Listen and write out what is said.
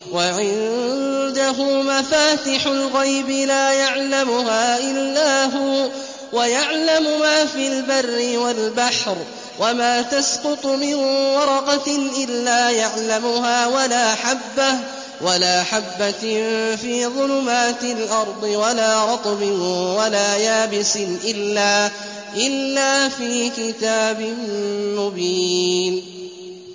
۞ وَعِندَهُ مَفَاتِحُ الْغَيْبِ لَا يَعْلَمُهَا إِلَّا هُوَ ۚ وَيَعْلَمُ مَا فِي الْبَرِّ وَالْبَحْرِ ۚ وَمَا تَسْقُطُ مِن وَرَقَةٍ إِلَّا يَعْلَمُهَا وَلَا حَبَّةٍ فِي ظُلُمَاتِ الْأَرْضِ وَلَا رَطْبٍ وَلَا يَابِسٍ إِلَّا فِي كِتَابٍ مُّبِينٍ